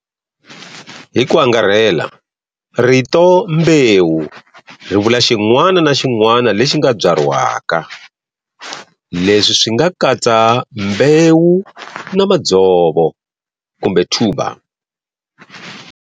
Hiku angarhela, rito"mbewu" rivula xin'wana na xin'wana lexi nga byariwaka, leswi swinga katsa mbewu na madzovo kumbe tuber.